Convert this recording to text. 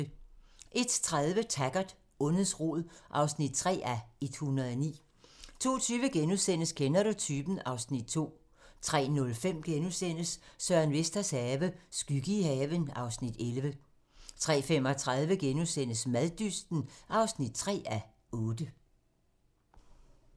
01:30: Taggart: Ondets rod (3:109) 02:20: Kender du typen? (Afs. 2)* 03:05: Søren Vesters have - skygge i haven (Afs. 11)* 03:35: Maddysten (3:8)*